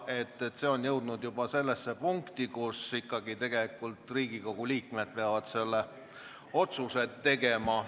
Küsimus on juba jõudnud sellesse punkti, kus ikkagi Riigikogu liikmed peavad selle otsuse tegema.